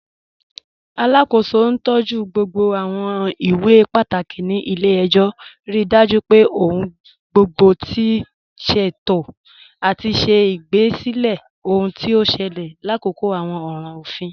Alákó̩sọ̀ ntọju gbogbo àwọn ìwé pátákì ní ilẹ̀-ẹ̀jọ̀, ríí dájú pé ọ̀hun gbogbo ti ṣéto, àti ṣè igbásílẹ̀ ọhun tí o ṣẹlẹ̀ làkòkò àwọn ọ̀ràn ọ̀fin.